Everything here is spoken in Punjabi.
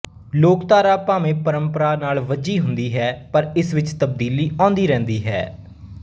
ਲੋਕ ਧਾਰਾ ਭਾਵੇਂ ਪਰੰਪਰਾ ਨਾਲ ਬੱਝੀ ਹੁੰਦੀ ਹੈ ਪਰ ਇਸ ਵਿੱਚ ਤਬਦੀਲੀ ਆਉਂਦੀ ਰਹਿੰਦੀ ਹੈ